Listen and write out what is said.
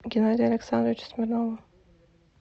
геннадия александровича смирнова